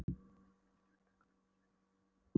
Innst inni var ég vitaskuld vonsviknari en orð fá lýst.